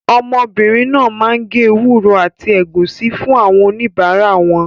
Ọmọbìnrin náà máa ń gé ewúro àti ẹ̀gúsí fún àwọn oníbàárà wọn.